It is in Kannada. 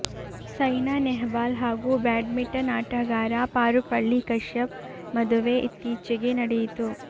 ಸೈನಾ ನೆಹವಾಲ್ ಹಾಗೂ ಬ್ಯಾಡ್ಮಿಂಟನ್ ಆಟಗಾರ ಪಾರುಪಳ್ಳಿ ಕಶ್ಯಪ್ ಮದುವೆ ಇತ್ತೀಚೆಗೆ ನಡೆಯಿತು